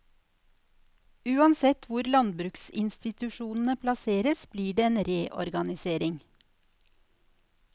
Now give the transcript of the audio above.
Uansett hvor landbruksinstitusjonene plasseres blir det en reorganisering.